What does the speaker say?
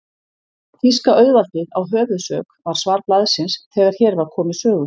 Þýska auðvaldið á höfuðsök, var svar blaðsins, þegar hér var komið sögu.